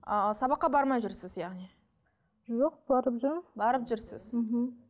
а сабаққа бармай жүрсіз яғни жоқ барып жүрмін барып жүрсіз мхм